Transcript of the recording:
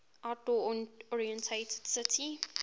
outdoor oriented city